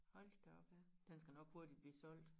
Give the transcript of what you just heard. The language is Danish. Hold da op den skal nok hurtigt blive solgt